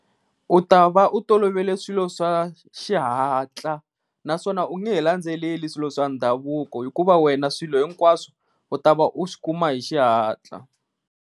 U ta va u tolovele swilo swa xihatla naswona u nge he landzeleli swilo swa ndhavuko hikuva wena swilo hinkwaswo u ta va u swi kuma hi xihatla.